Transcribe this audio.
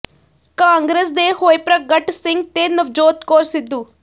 ਕਾਂਗਰਸ ਦੇ ਹੋਏ ਪ੍ਰਗਟ ਸਿੰਘ ਤੇ ਨਵਜੋਤ ਕੌਰ ਸਿੱਧੂ